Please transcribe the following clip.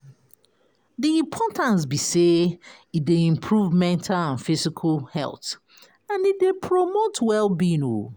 Di importance be say e dey improve mental and physical health, and e dey promote well-being o.